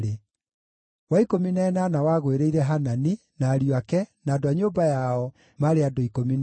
wa ikũmi na ĩnana wagũĩrĩire Hanani, na ariũ ake, na andũ a nyũmba yao, maarĩ andũ 12;